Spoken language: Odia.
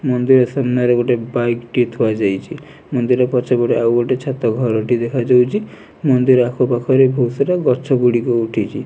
ମନ୍ଦିର ସାମ୍ନାରେ ଗୋଟେ ବାଇକ୍ ଟିଏ ଥୁଆ ଯାଇଚି ମନ୍ଦିର ପଛ ପଟେ ଆଉ ଗୋଟେ ଛାତ ଘର ଟି ଦେଖା ଯାଉଚି ମନ୍ଦିର ଆଖ ପାଖରେ ବହୁତ ସାରା ଗଛ ଗୁଡ଼ିକ ଉଠିଚି।